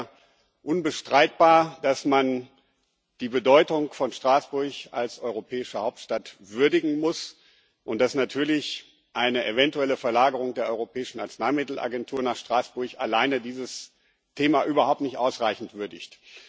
Es ist sicher unbestreitbar, dass man die Bedeutung von Straßburg als europäische Hauptstadt würdigen muss und dass natürlich eine eventuelle Verlagerung der Europäischen Arzneimittel Agentur nach Straßburg alleine dieses Thema überhaupt nicht ausreichend würdigt.